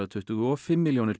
tuttugu og fimm milljónir